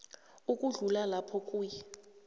ukudlula lapho kuye